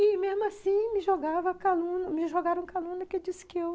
E, mesmo assim, me jogava calú, me jogaram calúnia que disse que eu